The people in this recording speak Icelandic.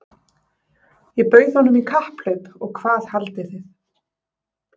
Ég bauð honum í kapphlaup og hvað haldið þið?